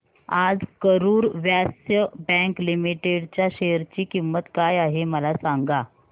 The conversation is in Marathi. आज करूर व्यास्य बँक लिमिटेड च्या शेअर ची किंमत काय आहे मला सांगा